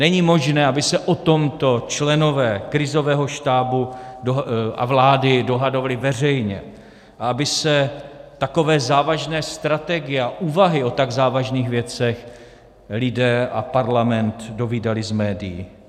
Není možné, aby se o tomto členové krizového štábu a vlády dohadovali veřejně a aby se takové závažné strategie a úvahy o tak závažných věcech lidé a Parlament dovídali z médií.